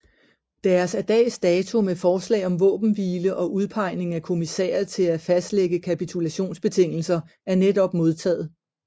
Deres af dags dato med forslag om våbenhvile og udpegning af kommissærer til at fastlægge kapitulationsbetingelser er netop modtaget